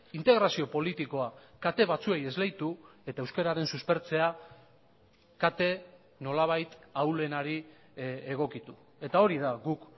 integrazio politikoa kate batzuei esleitu eta euskararen suspertzea kate nolabait ahulenari egokitu eta hori da guk